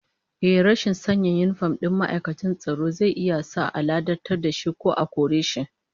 Ehh, rashin sanya yinifom din ma'aikacin tsaro zai iya sa a ladabtar da shi ko a kore shi